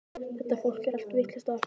Þetta fólk er allt vitlaust á eftir mér.